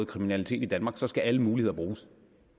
kriminalitet i danmark skal alle muligheder bruges